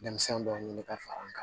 Denmisɛn dɔ ɲini ka far'a kan